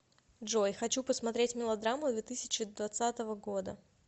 джой хочу посмотреть мелодраму две тысячи двадцатого года